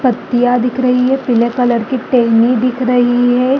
पत्तियां दिख रही हैं पीले कलर की टहनी दिख रही हैं।